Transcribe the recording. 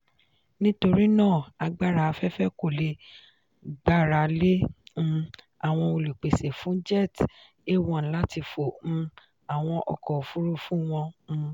nítorí náà agbára afẹ́fẹ́ kò le gbára lé um àwọn olùpèsè fún jet a1 láti fo um àwọn ọkọ̀ òfúrufú wọn. um